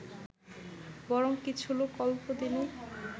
বরং কিছু লোক অল্পদিনেই